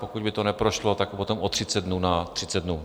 Pokud by to neprošlo, tak potom o 30 dnů na 30 dnů.